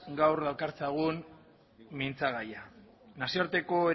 gaur dakartzagun mintzagaia nazioarteko